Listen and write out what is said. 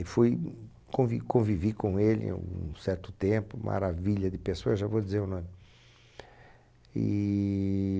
E fui, convi, convivi com ele um certo tempo, maravilha de pessoa, já vou dizer o nome. E...